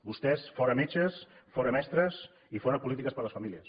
vostès fora metges fora mestres i fora polítiques per a les famílies